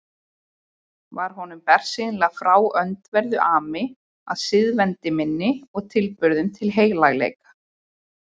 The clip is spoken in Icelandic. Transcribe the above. Var honum bersýnilega frá öndverðu ami að siðavendni minni og tilburðum til heilagleika.